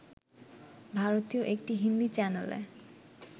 ভারতীয় একটি হিন্দী চ্যানেলে